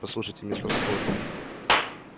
послушайте мистер скотт